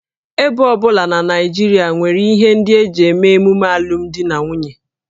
Ebo ọ bụla na Naịjirịa nwere ihe ndị e ji eme emume alụmdi na nwunye